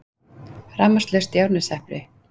Rafmagnslaust í Árneshreppi